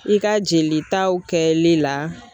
I ka jelitaw kɛli la.